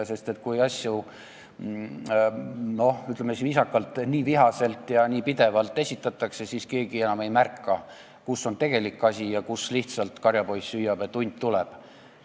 Sest kui asju, ütleme viisakalt, nii vihaselt ja pidevalt esitatakse, siis keegi enam ei märka, kus on tegelik asi ja kus lihtsalt karjapoiss hüüab, et hunt tuleb.